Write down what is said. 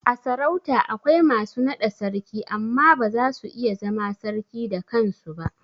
A sarauta akwai masu naɗa Sarki amma ba zasu iya zama sarki da kansu ba